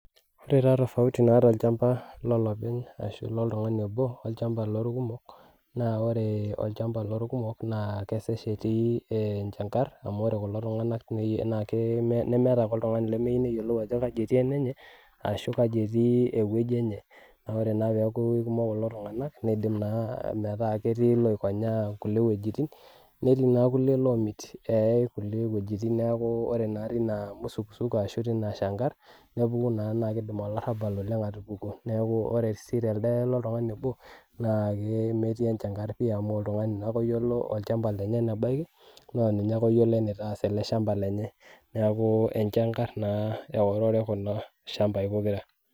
Ore taa tofauti naata olchampa lolopeny ashu loltungani obo olchampa loorkumok. naa ore olchampa loorkumok naa kesesh etii enchankar .amu ore kulo tunganak nemeeta apa oltungani lemeyieu neyiolou ajo kaji etii olenye. ashu kaji etii ewueji enye. naa ore naa peeku kikumok kulo tunganak, niidim naa metaa ketii kulie loikonyaa kulie wuejitin. netii kulie loomir eeyae kulie wuejitin ore naa teina musukusuko ashu teina Shankar naa kidim olarabal oleng aatupuku. orw sii telde loltungani obo.na ametii enchankar amu oltungani naake oyiolo olchampa lenye. enebaiki naa ninye ake oyiolo enitaas olchampa lenye. neeku enchankar eorore kulo shampai pokira.